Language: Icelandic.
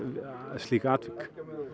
slík atvik